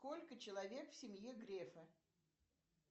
сколько человек в семье грефа